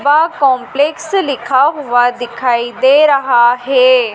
वह कॉम्प्लेक्स लिखा हुआ दिखाई दे रहा है।